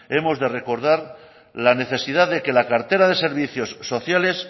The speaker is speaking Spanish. hemos de recordad la necesidad de que la cartera de servicios sociales